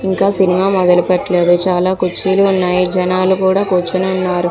ఇంకా సినిమా మొదలు పెట్టలేదు. చాలా కుర్చీలు ఉన్నాయి. జనాలు కూడా కూర్చొని ఉన్నారు.